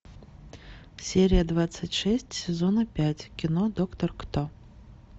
серия двадцать шесть сезона пять кино доктор кто